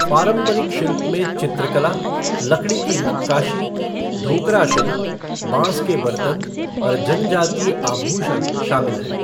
पारंपरिक शिल्प में चित्रकला, लकड़ी की नक्काशी, ढोकरा शिल्प, बाँस के बर्तन और जनजातीय आभूषण शामिल हैं।